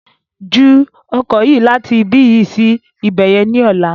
Ju oko yí láti ibi yi sí ibẹ̀yẹn ni ọ̀la!